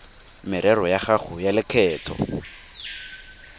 merero ya gago ya lekgetho